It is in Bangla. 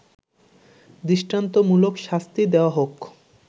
দৃষ্টান্তমূলক শাস্তি দেয়া হোক